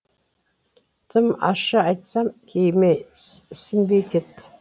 тым ащы айтсам кейіме ісінбей кет